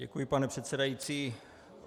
Děkuji, pane předsedající.